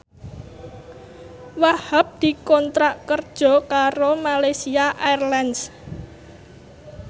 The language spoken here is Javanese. Wahhab dikontrak kerja karo Malaysia Airlines